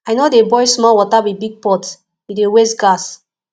i no dey boil small water with big pot e dey waste gas